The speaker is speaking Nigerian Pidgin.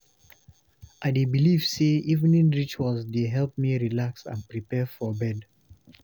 I dey believe say evening rituals dey help me relax and prepare for bed.